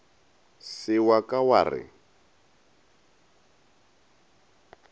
se wa ka wa re